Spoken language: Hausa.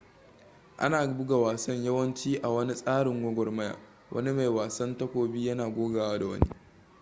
ana buga wasan yawanci a wani tsarin gwagwarmaya wani mai wasan takobi yana gogawa da wani